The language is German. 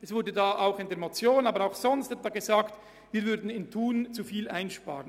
Es ist mehrfach gesagt worden, wir würden in der Region Thun zu viel einsparen.